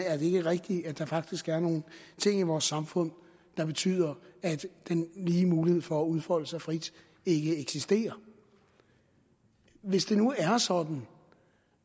er det ikke rigtigt at der faktisk er nogle ting i vores samfund der betyder at den lige mulighed for at udfolde sig frit ikke eksisterer hvis det nu er sådan